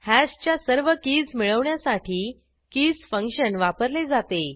hash च्या सर्व keys मिळवण्यासाठी keysफंक्शन वापरले जाते